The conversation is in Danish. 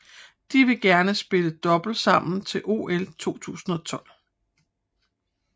De vil gerne spille double sammen til OL 2012